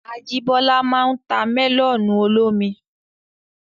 Ajíbọ́lá máa n ta mẹ́lọ̀nù olómi